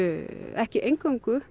ekki eingöngu